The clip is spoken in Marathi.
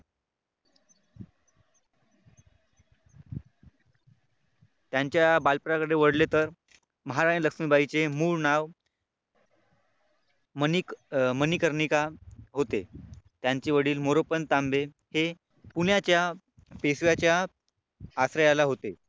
त्यांच्या बालपणाकडे वळले तर महाराणी लक्ष्मीबाई चे मूळ नाव मणिक मणिकर्णिका होते. त्यांचे वडील मोरोपंत तांबे हे पुण्याच्या पेशव्याच्या आश्रयाला होते.